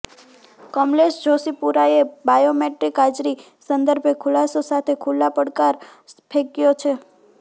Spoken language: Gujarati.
કમલેશ જોષીપુરાએ બાયોમેટ્રીક હાજરી સંદર્ભે ખુલાસો સાથે ખુલ્લો પડકાર ફેંકયો છે